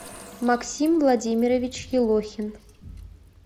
максим владимирович елохин